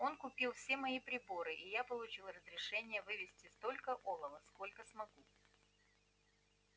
он купил все мои приборы и я получил разрешение вывезти столько олова сколько смогу